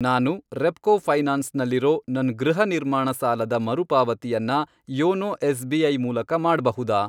ನಾನು ರೆಪ್ಕೋ ಫೈನಾನ್ಸ್ ನಲ್ಲಿರೋ ನನ್ ಗೃಹ ನಿರ್ಮಾಣ ಸಾಲ ದ ಮರುಪಾವತಿಯನ್ನ ಯೋನೋ ಎಸ್.ಬಿ.ಐ. ಮೂಲಕ ಮಾಡ್ಬಹುದಾ?